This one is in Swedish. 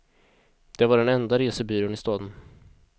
Det var den enda resebyrån i staden.